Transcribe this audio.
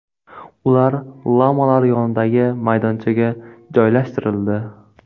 Ular lamalar yonidagi maydonchaga joylashtirildi.